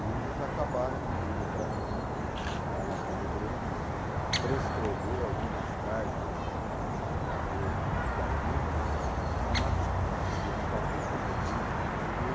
E eles acabaram pedindo para mim dar uma mão no Grêmio, transcrever algumas cartas do do Euclides da Cunha à máquina, porque eles estavam querendo fazer um livro, não sei o quê.